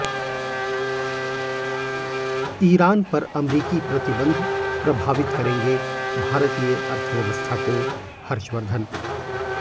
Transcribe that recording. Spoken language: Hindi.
ईरान पर अमरीकी प्रतिबंध प्रभावित करेंगे भारतीय अर्थव्यवस्था कोः हर्षवर्धन